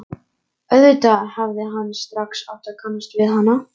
Auðvitað hefði hann strax átt að kannast við hana.